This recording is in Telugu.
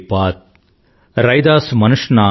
रैदास मनुष ना जुड़ सके